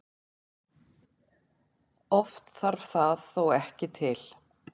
Oft þarf það þó ekki til.